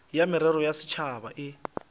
ya merero ya setšhaba e